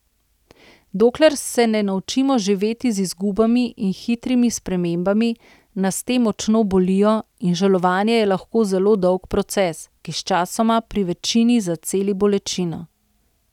Dokler se ne naučimo živeti z izgubami in hitrimi spremembami, nas te močno bolijo in žalovanje je lahko zelo dolg proces, ki sčasoma pri večini zaceli bolečino.